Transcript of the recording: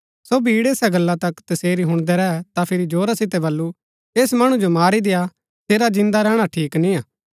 सो भीड़ ऐसा गल्ला तक तसेरी हुणदै रैह तां फिरी जोरा सितै बल्लू ऐस मणु जो मारी देय्आ सेरा जिन्दा रैहणा ठीक निय्आ